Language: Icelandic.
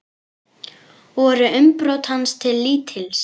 Voru umbrot hans til lítils.